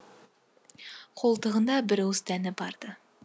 қолтығында бір уыс дәні бар ды